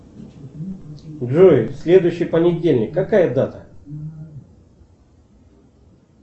джой следующий понедельник какая дата